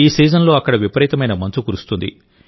ఈ సీజన్లో అక్కడ విపరీతమైన మంచు కురుస్తుంది